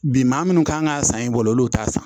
Bi maa munnu kan ga san i bolo olu t'a san